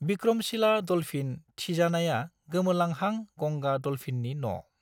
Vikramshila dolphin थिजानाया गोमोरलांहां गंगा डल्फिननि न'।